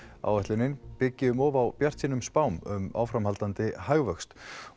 áætlunin byggi um of á bjartsýnum spám um áframhaldandi hagvöxt